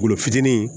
Golo fitinin